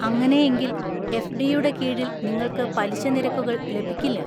അങ്ങനെയെങ്കിൽ, എഫ്ഡിയുടെ കീഴിൽ നിങ്ങൾക്ക് പലിശ നിരക്കുകൾ ലഭിക്കില്ല.